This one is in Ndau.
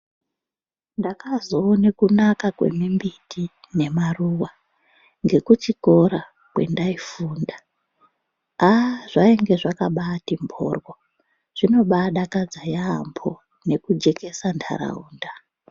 Ndakazowone kunaka kwemimbiti nemaruva ngekuchikora kwandaifunda. Aah! zvainge zvakabate mborwa ,zvinodadakadza yaambo nekujekesa ntaraunda.